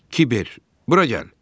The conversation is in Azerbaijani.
Kiber, bura gəl!